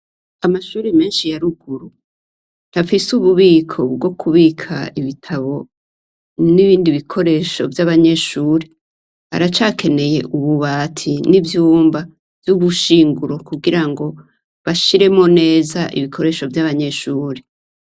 Amashure menshi ya ruguru ntafise ububiko bwo kubika ibitabo nibindi bikoresho vy'abanyeshure aracakeneye ububati n'ivyumba vy'ubushinguro kugira ngo bashiremwo neza ibikoresho vy'abanyeshure.